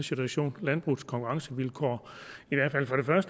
situation landbrugets konkurrencevilkår